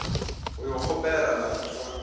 go yo kgopelela moratho wa